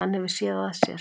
Hann hefur SÉÐ AÐ SÉR.